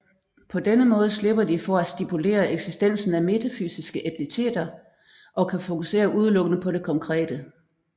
På denne måde slipper de for at stipulere eksistensen af metafysiske entiteter og kan fokusere udelukkende på det konkrete